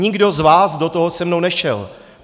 Nikdo z vás do toho se mnou nešel!